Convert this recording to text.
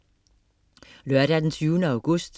Lørdag den 20. august